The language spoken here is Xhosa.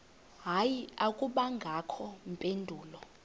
hayi akubangakho mpendulo